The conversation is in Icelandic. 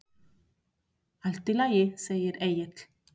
Allt í lagi, segir Egill.